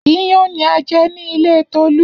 Iyán ni a jẹ ní ilé Tolú.